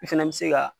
I fɛnɛ bi se ka